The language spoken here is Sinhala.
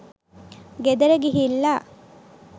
ගෙදර ගිහිල්ලා